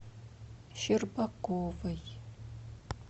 щербаковой